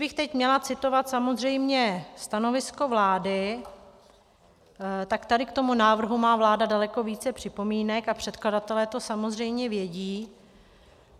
Kdybych teď měla citovat samozřejmě stanovisko vlády, tak tady k tomu návrhu má vláda daleko více připomínek a předkladatelé to samozřejmě vědí.